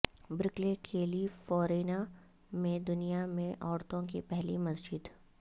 Berkeley California میں دنیا میں عورتوں کی پہلی مسجد